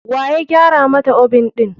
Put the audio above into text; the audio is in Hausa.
Waya gyara mata oven ɗin?